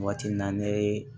Waati min na ne ye